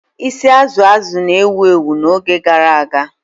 Isi Azụ azụ na-ewu ewu n'oge gara aga.